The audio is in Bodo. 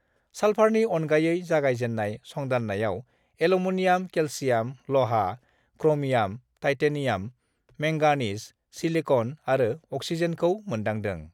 साल्फारनि अनगायै जागाय जेन्नायसंदांन्नायाव एल'मिनियाम, केलसियाम, लहा, क्रमियाम, टाइटेनियाम, मेंगानिस, सिलिकन आरो अक्सिजेनखौ मोन्दांदों।